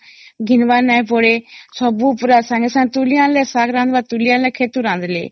ଘିନିବାର ନାଇଁ ପଡେ ସବୁ ପୁରା ସଂଗେ ସଂଗେ ତୁଳି ଆଣିଲେ ସ୍ୱାଦ ଲାଗିବ ତୁଳି ଆଣିଲେ କ୍ଷେତରୁ ରାନ୍ଧିଲେ